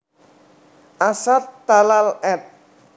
Asad Talal ed